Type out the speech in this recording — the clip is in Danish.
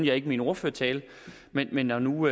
jeg ikke i min ordførertale men når nu